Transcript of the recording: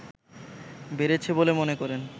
বেড়েছে বলে মনে করেন